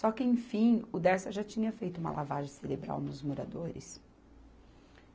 Só que, enfim, o Dersa já tinha feito uma lavagem cerebral nos moradores.